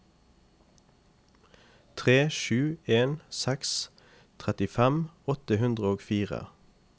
tre sju en seks trettifem åtte hundre og fire